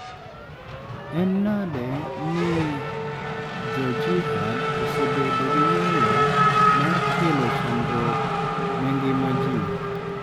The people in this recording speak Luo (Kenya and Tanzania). En nade ni jo jihad osebedo gi nyalo mar kelo chandruok ne ngima ji?